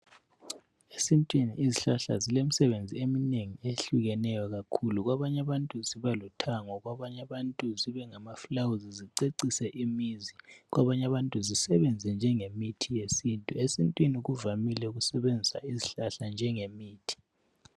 Esintwini izihlahla zilemisebenzi eminengi ehlukeneyo kakhulu. Kwabanye abantu zibaluthango kwabanye abantu zibengama fulawuzi zicecise imizi kwabanye abantu zisebenze njenge mithi yesintu. Esintwini kuvamile ukusebenzisa izihlahla njengemithi.